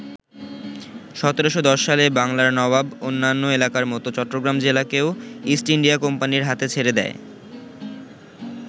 ১৭১০ সালে বাংলার নবাব অন্যান্য এলাকার মতো চট্টগ্রাম জেলাকেও ইস্ট ইন্ডিয়া কোম্পানির হাতে ছেড়ে দেয়।